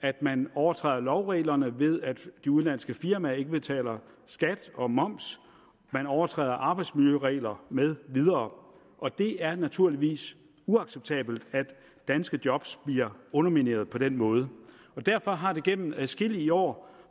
at man overtræder lovreglerne ved at de udenlandske firmaer ikke betaler skat og moms at man overtræder arbejdsmiljøregler med videre og det er naturligvis uacceptabelt at danske job bliver undermineret på den måde derfor har det igennem adskillige år